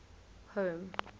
home